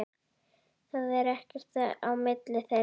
Það er ekkert á milli þeirra.